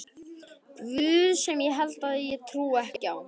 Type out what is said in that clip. guð sem ég held ég trúi ekki á.